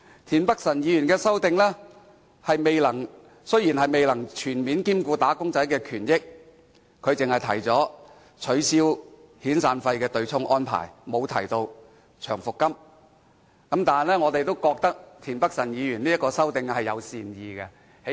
田北辰議員的修正案雖然未能全面兼顧"打工仔"的權益，只是提出取消遣散費的對沖安排，而沒有提出取消長期服務金的對沖安排，但我們認為田北辰議員的修正案是出於善意的。